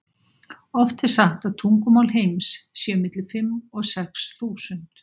Oft er sagt að tungumál heims séu milli fimm og sex þúsund.